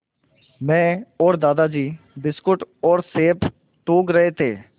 मैं और दादाजी बिस्कुट और सेब टूँग रहे थे